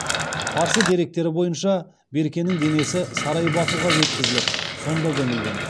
парсы деректері бойынша беркенің денесі сарай батуға жеткізіліп сонда көмілген